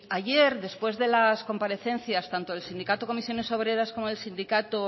ayer después de las comparecencias tanto del sindicato comisiones obreras como el sindicado